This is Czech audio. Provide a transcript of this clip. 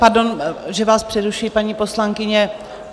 Pardon, že vás přerušuji, paní poslankyně.